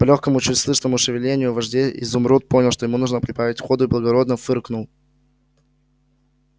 по лёгкому чуть слышному шевелению вожжей изумруд понял что ему можно прибавить ходу и благодарно фыркнул